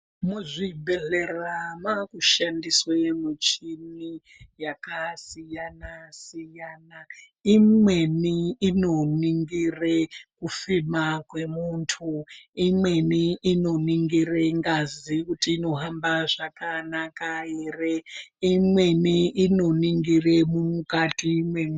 Muzvibhedhlera mwaakushandiswe michini yakasiyana siyana. Imweni inoningire kufema kwemuntu imweni inoningira ngazi kuti inohamba zvakanaka here imweni inoningire mukati mwe.